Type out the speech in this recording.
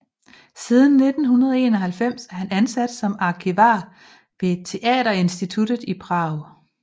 Siden 1991 er han ansat som arkivar ved Teaterinstituttet i Prag